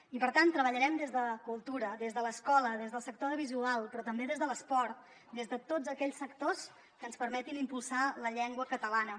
i per tant treballarem des de cultura des de l’escola des del sector audiovisual però també des de l’esport des de tots aquells sectors que ens permetin impulsar la llengua catalana